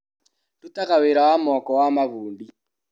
Ndutaga wĩra wa moko wa mabundi.